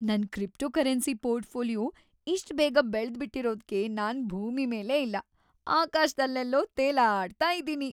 ನನ್ cryptocurrency portfolio ಇಷ್ಟ್‌ ಬೇಗ ಬೆಳ್ದ್‌ಬಿಟಿರೋದ್ಕೆ ನಾನ್‌ ಭೂಮಿ ಮೇಲೇ ಇಲ್ಲ, ಆಕಾಶ್ದಲ್ಲೆಲ್ಲೋ ತೇಲಾಡ್ತಾ ಇದೀನಿ.